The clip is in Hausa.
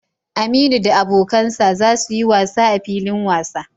Aminu da abokan sa za su yi wasa a filin wasa.